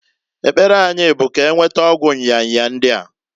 Ekpere anyi bu k'enweta ọgwụ nya nya ndia.